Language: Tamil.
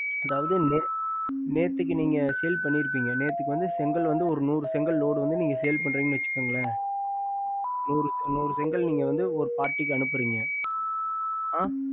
அதாவது நேத்து நீங்க selle பண்ணி இருப்பிங்க நேத்து நுறு செங்கல் sells பண்றிங்க வாஷிகோங்கலசரிங்க sir நுறு செங்கல் நீக்க வந்து ஒரு parti அனுப்புறிங்க